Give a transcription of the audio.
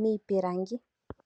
miipilangi.